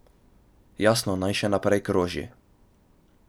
Jasno, naj še naprej kroži.